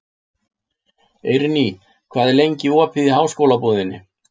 Eirný, hvað er lengi opið í Háskólabúðinni?